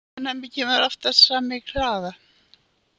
Ofnæmið kemur oftast fram í kláða.